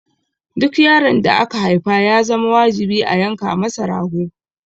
Duk yaron da aka haifa ya zama wajibi a yanka masa rago.